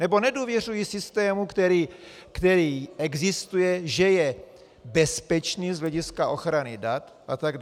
Nebo nedůvěřují systému, který existuje, že je bezpečný z hlediska ochrany dat atd.